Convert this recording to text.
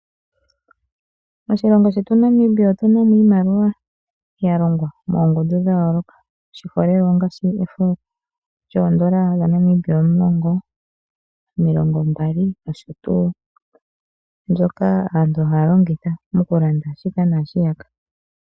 Moshilongo shetu Namibia otunamo iimaliwa ya longwa moongundu dha yooloka. Oshiholelwa ongashi efo lyoondola omulongo, omilongo mbali nosho tuu, mbyoka aantu haya longitha oku landa shika na shiyaka.